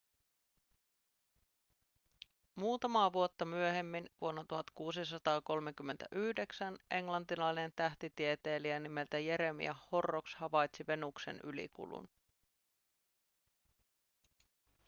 muutamaa vuotta myöhemmin vuonna 1639 englantilainen tähtitieteilijä nimeltä jeremiah horrocks havaitsi venuksen ylikulun